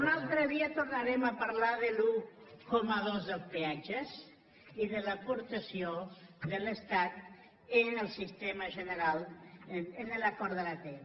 un altre dia tornarem a parlar de l’un coma dos dels peatges i de l’aportació de l’estat en l’acord de l’atm